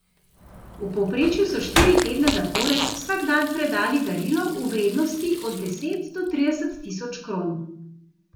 V povprečju so štiri tedne zapored vsak dan predali darilo v vrednosti od deset do trideset tisoč kron.